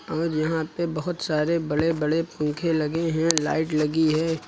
और यहां पे बहोत सारे बड़े बड़े पंखे लगे हैं लाइट लगी है।